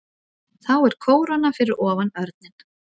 Þá er kóróna fyrir ofan örninn.